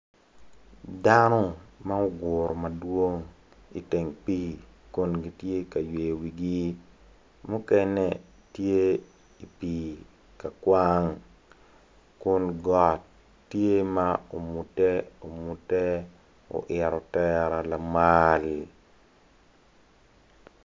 Dano ma oguru madwong iteng pii kun gitye ka yweyi wigi mukene tye i pii ka kwang kun got tye ma ongute ongute oito tera lamal